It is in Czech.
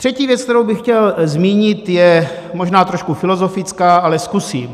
Třetí věc, kterou bych chtěl zmínit, je možná trošku filozofická, ale zkusím.